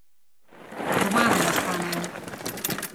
Doma naj ostanejo!